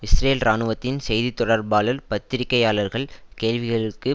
Israel இராணுவத்தின் செய்தி தொடர்பாளர் பத்திரிகையாளர்கள் கேள்விகளுக்கு